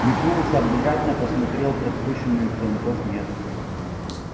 метнулся обратно посмотрел пропущенных звонков нет